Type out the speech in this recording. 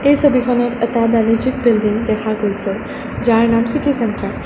এই ছবিখনত এটা বাণিজ্যিক বিল্ডিং দেখা গৈছে যাৰ নাম চিটি চেণ্টাৰ ।